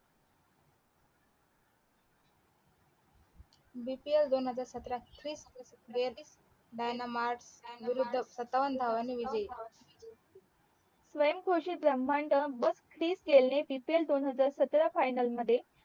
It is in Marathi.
DPL दोन हजार सतरा मध्ये विरुद्ध सत्तावन धावांनी विजयी स्वयंघोषित ब्राह्ममंड बस तीस केले DPL दोन हजार सतरा फायनल मध्ये